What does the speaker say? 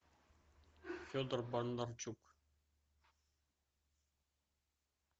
федор бондарчук